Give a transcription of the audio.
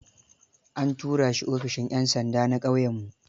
An tura shi ofishin 'yan sanda na ƙauyenmu.